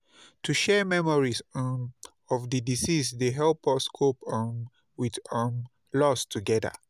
To share memories um of di deceased dey help us cope um with um loss together.